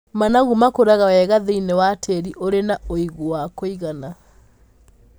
Managu makũraga wega thĩiniĩ wa tĩĩri ũrĩ na ũigũ wa kũigana.